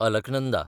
Alaknanda